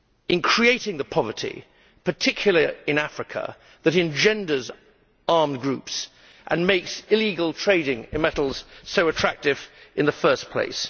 in creating the poverty, particularly in Africa, that engenders armed groups and makes illegal trading in metals so attractive in the first place.